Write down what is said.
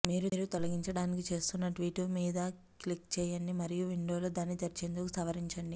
మీరు తొలగించటానికి చేస్తున్న ట్వీట్ మీద క్లిక్ చేయండి మరియు విండోలో దాన్ని తెరిచేందుకు సవరించండి